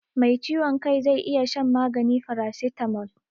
Mai ciwon kai zai iya shan magani farasitamol.